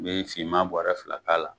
U bɛ finman bɔrɛ fila k'a la.